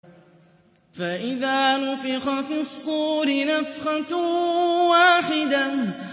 فَإِذَا نُفِخَ فِي الصُّورِ نَفْخَةٌ وَاحِدَةٌ